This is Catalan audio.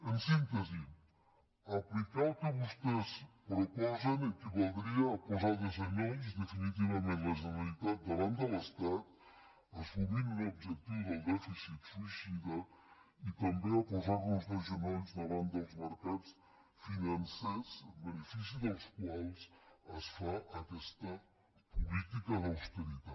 en síntesi aplicar el que vostès proposen equivaldria a posar de genolls definitivament la generalitat davant de l’estat assumint un objectiu del dèficit suïcida i també a posar nos de genolls davant dels mercats financers en benefici dels quals es fa aquesta política d’austeritat